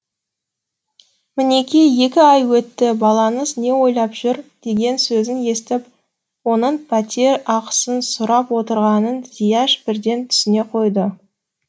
мінеки екі ай өтті балаңыз не ойлап жүр деген сөзін естіп оның пәтер ақысын сұрап отырғанын зияш бірден түсіне қойды